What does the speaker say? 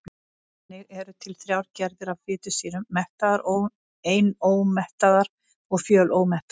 Þannig eru til þrjár gerðir af fitusýrum: mettaðar, einómettaðar og fjölómettaðar.